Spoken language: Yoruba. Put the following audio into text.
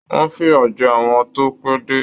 Wọn fiya jẹ àwọn tó pẹ dé.